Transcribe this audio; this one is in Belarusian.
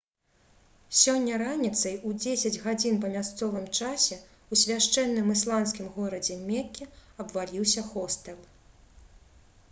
сёння раніцай у 10 гадзін па мясцовым часе ў свяшчэнным ісламскім горадзе мекке абваліўся хостэл